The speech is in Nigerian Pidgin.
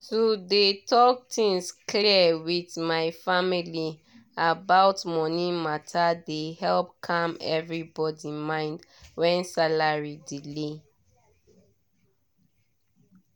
to dey talk things clear with my family about money matter dey help calm everybody mind when salary delay.